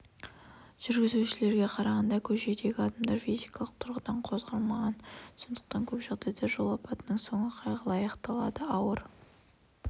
жүргізушілерге қарағанда көшедегі адамдар физикалық тұрғыдан қорғалмаған сондықтан көп жағдайда жол апатының соңы қайғылы аяқталады ауыр